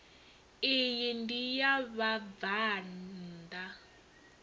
iyi ndi ya vhabvann ḓa